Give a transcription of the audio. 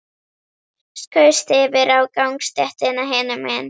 Skaust yfir á gangstéttina hinum megin.